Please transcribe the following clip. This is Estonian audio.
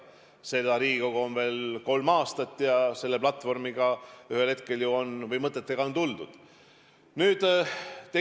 Seda Riigikogu on veel kolm aastat ja selle platvormiga või nende mõtetega on lagedale tuldud.